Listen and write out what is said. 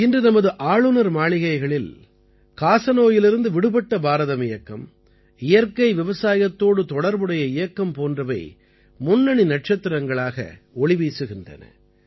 இன்று நமது ஆளுநர் மாளிகைகளில் காசநோயிலிருந்து விடுபட்ட பாரதம் இயக்கம் இயற்கை விவசாயத்தோடு தொடர்புடைய இயக்கம் போன்றவை முன்னணி நட்சத்திரங்களாக ஒளி வீசுகின்றன